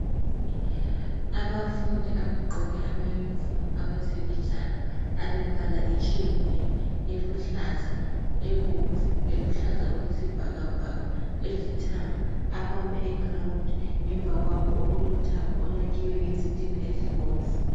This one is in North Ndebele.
Abafundi abagqoke amayunifomu awezemidlalo alembala etshiyeneyo eluhlaza, ebomvu, eluhlaza okwesibhakabhaka, elithanga, abame egrawundi ngemva kwabo okulothango olwakhiwe ngezitina ezibomvu.